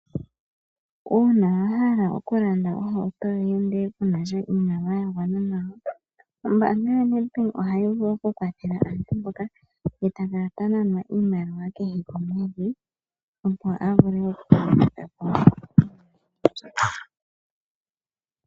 Uuna wahala okulanda ohauto yoye ihe kuna iimaliwa ya gwana nawa ombaanga yoNedbank ohayi vulu okukwathela aantu mboka ye ta kala tananwa oshimaliwa kehe komwedhi, opo a vule oku gwanitha iimaliwa mbyoka.